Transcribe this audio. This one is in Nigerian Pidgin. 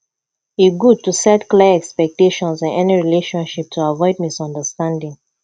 e good to set clear expectations in any relationship to avoid misunderstanding